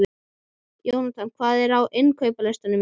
Jónatan, hvað er á innkaupalistanum mínum?